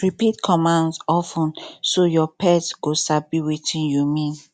repeat commands of ten so your pet go sabi wetin you mean